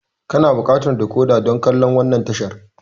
Kana buƙatar decoder dan kallan wannan tashar.